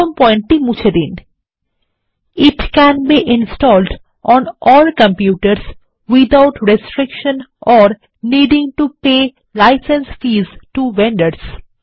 প্রথম পয়েন্টটি মুছে দিন it can be installed on all কম্পিউটারসহ without restriction or needing to pay license fees to vendors